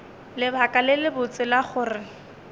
lebaka le lebotse la gore